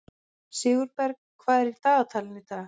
Sigurberg, hvað er í dagatalinu í dag?